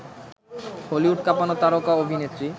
Hollywood কাঁপানো তারকা অভিনেত্রী